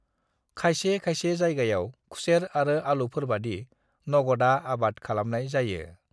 खायसे खायसे जायगायाव खुसेर आरो आलुफोरबादि नगदा आबाद खालामनाय जायो।